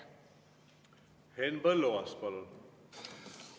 Henn Põlluaas, palun!